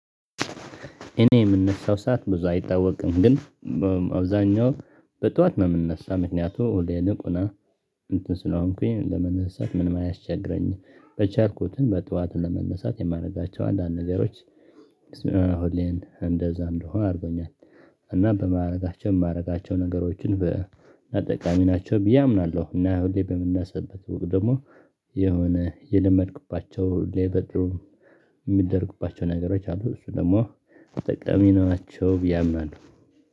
እኔ የምነሳው ሰዓት ብዙ አይታወቅም ግን አብዛኛው በጧት ነው የምነሳ ምክንያቱ ወደ ንቁና እንትን ስለሆንኩኝ ለመነሳት ምንም አያስቸግረኝም በቻልኩትም በጧት ለመነሳት የማደርጋቸው አንዳንድ ነገሮች ሁሌም እንደዛ እንድሆን አድርጎኛል እና በማድረጋቸው የማደርጋቸው ነገሮችን በ ጠቃሚ ናቸው ብዬ አምናለሁ፤ እና ሁሌ በምናስብበት ወቅት ደግሞ የሆነ የለመድክባቸው ሌበድ የሚደርግባቸው ነገሮች አሉ እሱ ደግሞ ተጠቃሚ ናቸው ብዬ አምናለሁ።